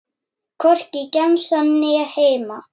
Hvorki í gemsann né heima.